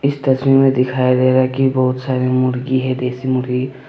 इस तस्वीर में दिखाया गया है की बहुत सारे मुर्गी है देशी मुर्गी--